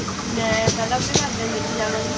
ਮੈਂ ਪਹਿਲਾਂ ਆਪਣੇ ਘਰਦਿਆਂ ਨੂੰ ਲੇਕੇ ਜਾਵਾਂਗੀ